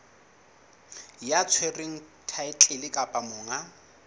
ya tshwereng thaetlele kapa monga